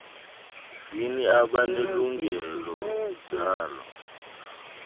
zini abanelungelo lazo